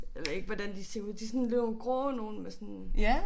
Jeg ved ikke hvordan de ser ud. Det sådan nogle grå nogle med sådan